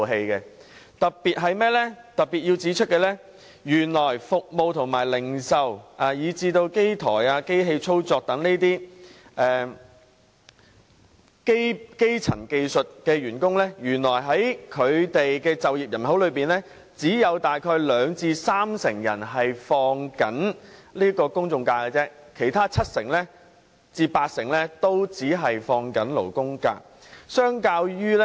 我特別想指出，原來服務業和零售業的從業員，以及機台及機器操作員等基層技術人員的就業人口當中，只有約兩至三成享有公眾假期，其餘七至八成只享有勞工假。